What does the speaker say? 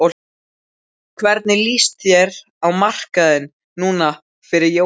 Hvernig lýst þér á markaðinn núna fyrir jólin?